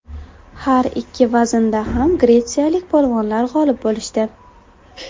Har ikki vaznda ham gretsiyalik polvonlar g‘olib bo‘lishdi.